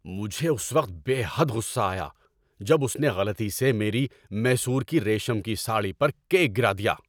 مجھے اس وقت بے حد غصہ آیا جب اس نے غلطی سے میری میسور کی ریشم کی ساڑی پر کیک گرا دیا۔